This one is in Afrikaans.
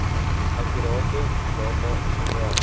akkurate data sowel